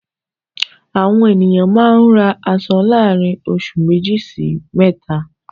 Àwọn ènìyàn máa ń ra aṣọ láàrin oṣù méjì sí mẹ́ta.